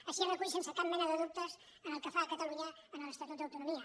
així es recull sense cap mena de dubtes pel que fa a catalunya a l’estatut d’autonomia